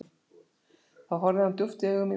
Þá horfði hann djúpt í augu mín og sagði